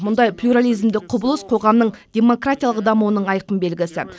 мұндай плюрализмдік құбылыс қоғамның демократиялық дамуының айқын белгісі